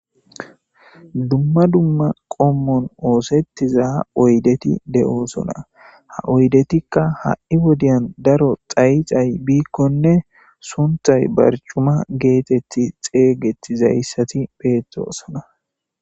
Dumma dumma qommon oosettiza oydeti de'osona ha oydetikka ha'i wodiyan daro xayi xay biikkonne sunthay barcuma geetetti xeeygetizayssati peettosona.